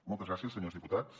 moltes gràcies senyors diputats